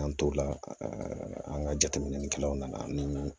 K'an t'o la an ka jateminɛ kɛlaw nana ani